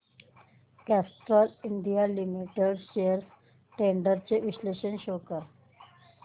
Castrol India Limited shares trends चे विश्लेषण show कर